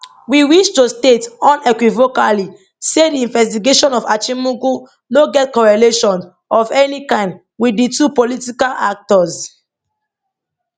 we wish to state unequivocally say di investigations of achimugu no get correlation of any kind wit di two political actors